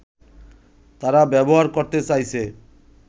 তারা ব্যবহার করতে চাইছে